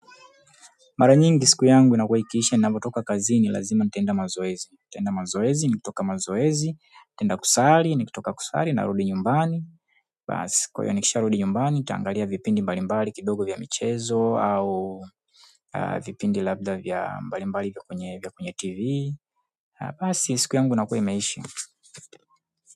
Mara nyingi siku yangu inakuwa ikiisha ninapotoka kazi ni lazima nitaenda mazoezi. Nitaenda mazoezi, nikitoka mazoezi, nitaenda kusali, nikitoka kusali na rudi nyumbani. Kwa hiyo nikisha rudi nyumbani, nitaangalia vipindi mbalimbali kidogo vya michezo au vipindi labda vya mbalimbali vya kwenye tv. Basi siku yangu inakuwa imeisha.